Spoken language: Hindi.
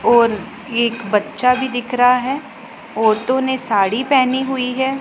और ये एक बच्चा भी दिख रहा है औरतों ने साड़ी पहनी हुई है।